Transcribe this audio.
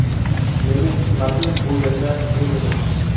Mening xizmatim bu yerda minimum.